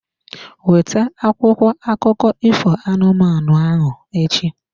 Weta akwụkwọ akụkọ ifo anụmanụ ahụ echi.